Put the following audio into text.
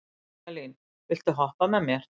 Hagalín, viltu hoppa með mér?